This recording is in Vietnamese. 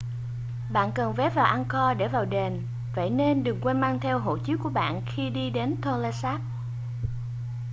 bạn cần vé vào angkor để vào đền vậy nên đừng quên mang theo hộ chiếu của bạn khi đi đến tonle sap